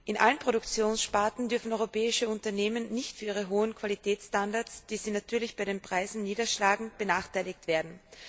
In allen Produktionssparten dürfen europäische Unternehmen nicht für ihre hohen Qualitätsstandards, die sie natürlich bei den Preisen niederschlagen, benachteiligt werden.